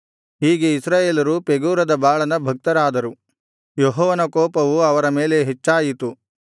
ಹೀಗೆ ಇಸ್ರಾಯೇಲರು ಪೆಗೋರದ ಬಾಳನ ಭಕ್ತರಾದರು ಯೆಹೋವನ ಕೋಪವು ಅವರ ಮೇಲೆ ಹೆಚ್ಚಾಯಿತು